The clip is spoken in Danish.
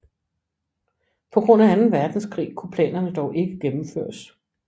På grund af Anden Verdenskrig kunne planerne dog ikke gennemføres